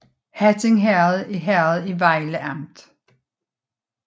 Hatting Herred er herred i Vejle Amt